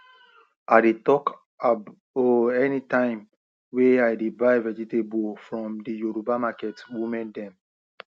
i dey talk ab o anytime wey i de buy vegetable from the yoruba market women dem